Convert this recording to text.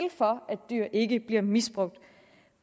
for at dyr ikke bliver misbrugt